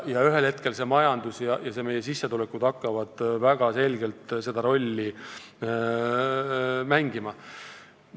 Ühel hetkel hakkavad majandus ja meie sissetulekud väga selgelt rolli mängima.